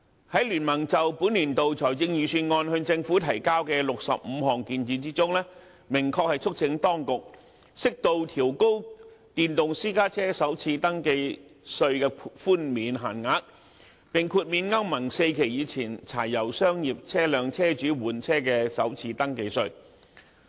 在經民聯就本年度財政預算案向政府提交的65項建議中，明確促請當局適度調高電動私家車首次登記稅的寬免限額，並豁免歐盟 IV 期以前柴油商業車輛車主換車的首次登記稅。